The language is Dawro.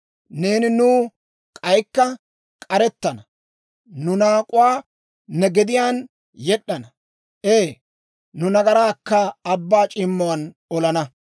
Neeni nuw k'aykka k'arettana; nu naak'uwaa ne gediyaan yed'd'ana; ee nu nagaraakka abbaa c'iimmuwaan olana.